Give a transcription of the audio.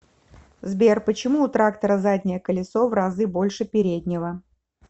сбер почему у трактора заднее колесо в разы больше переднего